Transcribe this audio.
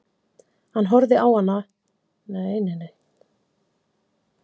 Hann horfði á hann ganga inn í stofuna og heilsa öllum með handabandi.